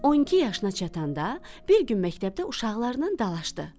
12 yaşına çatanda bir gün məktəbdə uşaqlarınnan dalaşdı.